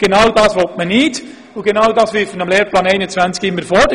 Genau dies will man nicht, und genau dies wirft man dem Lehrplan 21 immer vor.